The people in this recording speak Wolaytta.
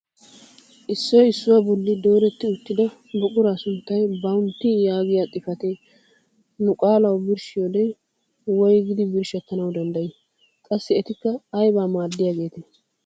Issoy issuwaa bolli dooretti uttida buquraa sunttay "BOUNTY" yaagiyaa xifatee nu qaalawu birshshiyoode woygidi birshshettanwu danddayii? qassi etikka aybaa maaddiyaagetee?